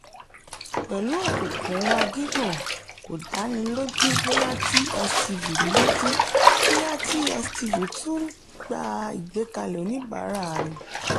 pẹ́lú òkùnkùn wà gígùn kò dáni lójú bóyá tstv lójú bóyá tstv tún gba ìgbẹ́kẹ̀lé oníbàárà rẹ̀.